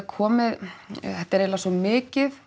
komið þetta er eiginlega svo mikið